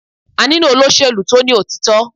A nílò olóṣèlú tó ní òtítọ́.